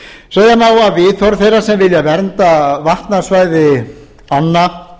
má að viðhorf þeirra sem vilja vernda vatnasvæði ánna